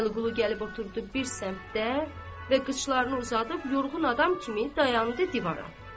Vəliqulu gəlib oturdu bir səmtdə və qıçlarını uzadıb yorğun adam kimi dayandı divara.